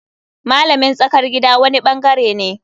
Malamin tsakar gida wani bangare ne.